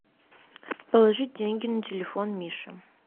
положить деньги на телефон миши